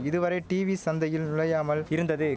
இதுவரை டீவி சந்தையில் நுழையாமல் இருந்தது